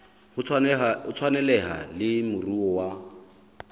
ho tshwaneleha le moruo wa